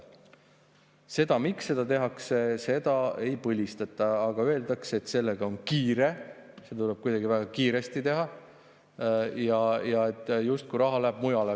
Seda, miks seda tehakse, ei põhistata, öeldakse, et sellega on kiire, see tuleb kuidagi väga kiiresti ära teha ja et raha justkui läheb mujale.